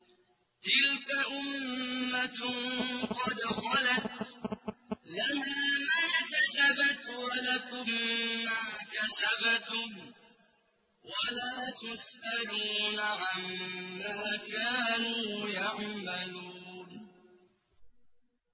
تِلْكَ أُمَّةٌ قَدْ خَلَتْ ۖ لَهَا مَا كَسَبَتْ وَلَكُم مَّا كَسَبْتُمْ ۖ وَلَا تُسْأَلُونَ عَمَّا كَانُوا يَعْمَلُونَ